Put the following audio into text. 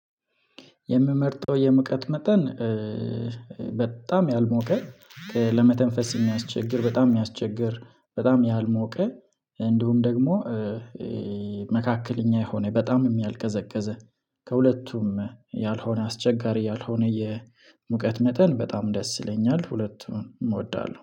የምመርጠው የሙቀት መጠን በጣም ያልሞቀ ለመተንፈስ የማያስቸግር በጣም የሚያስቸግር በጣም ያልሞቀ እንዲሁም ደግሞ። መካከለኛ የሆነ በጣምም ያልቀዘቀዘ ከሁለቱም ያልሆነ አስቸጋሪ ያልሆነ የሙቀት መጠን በጣም ደስ ይለኛል። ሁለቱን እወዳለሁ